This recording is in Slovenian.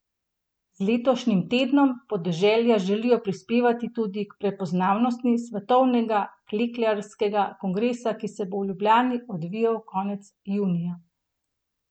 Z letošnjim Tednom podeželja želijo prispevati tudi k prepoznavnosti svetovnega klekljarskega kongresa, ki se bo v Ljubljani odvijal konec junija.